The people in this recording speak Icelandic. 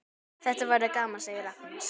Þetta verður gaman, segir Agnes.